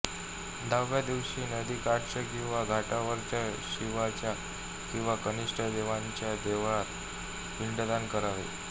दहाव्या दिवशी नदीकाठच्या किंवा घाटावरच्या शिवाच्या किंवा कनिष्ठ देवतांच्या देवळांत पिंडदान करावे